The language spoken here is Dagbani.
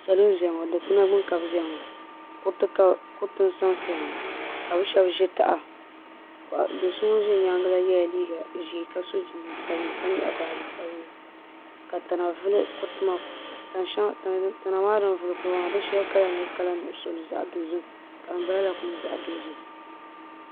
Salo n ʒia ŋɔ dikpina gbini ka bɛ ʒia ŋɔ kuriti n sansaya ŋɔ ka bɛ sheba ʒi taha do so ŋun be nyaanga maa ye liiga ʒee ka so jinjiɛm sabinli ka nyaɣi baaji sabinli ka tana vili kuriti maa di sheli kala nyɛla kala nuɣuso ka din balala kuli nyɛ zaɣa dozim.